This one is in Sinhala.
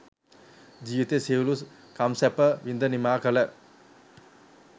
ජීවිතයේ සියලු කම්සැප විඳ නිමා කළ